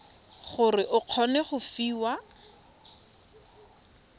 gore o kgone go fiwa